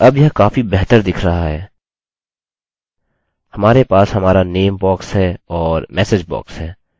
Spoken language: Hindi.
और अब यह काफी बेहतर दिख रहा है हमारे पास हमारा name बॉक्स है और message बॉक्स है